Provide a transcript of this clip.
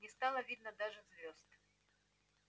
не стало видно даже звёзд